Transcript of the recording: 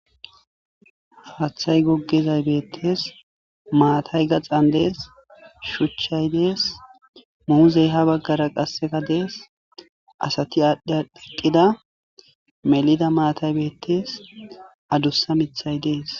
Haathay gogezay bettes maatay gaxan dees shuchchay dees muuzey ha baggara qasseka dees asati aadhdhi adhi eqqida melida maatay beettees adussa mithay dees